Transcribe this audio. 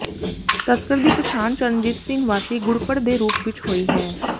ਤਸਕਰ ਦੀ ਪਛਾਣ ਚਰਨਜੀਤ ਸਿੰਘ ਵਾਸੀ ਗੁੜਪੜ ਦੇ ਰੂਪ ਵਜੋਂ ਹੋਈ ਹੈ